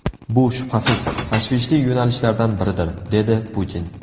Bu, shubhasiz, tashvishli yo‘nalishlardan biridir”, dedi Putin.